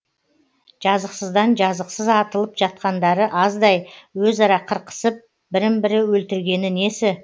жазықсыздан жазықсыз атылып жатқандары аздай өзара қырқысып бірін бірі өлтіргені несі